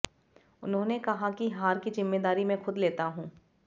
उन्होंने कहा कि हार की जिम्मेदारी में खुद लेता हूं